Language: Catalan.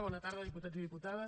bona tarda diputats i diputades